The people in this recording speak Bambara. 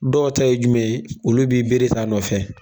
Dɔw ta ye jumɛn ye olu b'i beere t'a nɔfɛ.